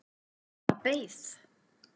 Hún bara beið